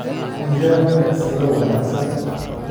ii raadi tagsiile wanaagsan